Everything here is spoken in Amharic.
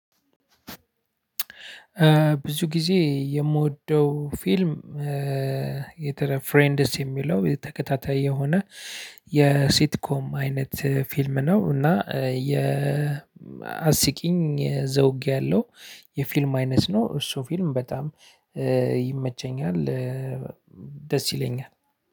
ብዙ ጊዜ የምወደው 'ፊልም ፍሬንድስ' የሚለው ተከታታይ የሆነ የ'ሲትኮም አይነት ፊልም' ነው እና የ አስቂኝ ዘውግ ያለው የፊልም' አይነት ነው እሱ 'ፊልም' በጣም ይመቸኛል ደስ ይለኛል።